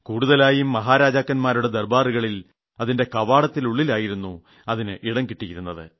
കൂടുതലായും മഹാരാജാക്കാൻമാരുടെ ദർബാറുകളിൽ അതിന്റെ കവാടത്തിലായിരുന്നു അതിന് ഇടം കിട്ടിയിരുന്നത്